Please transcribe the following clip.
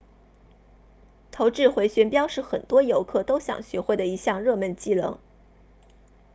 投掷回旋镖是很多游客都想学会的一项热门技能